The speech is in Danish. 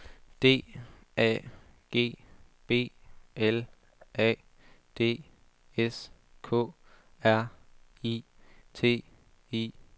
D A G B L A D S K R I T I K